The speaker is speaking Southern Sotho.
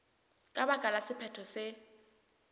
ka baka la sephetho se